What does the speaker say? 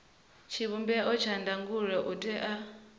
tshivhumbeo tsha ndangulo u tea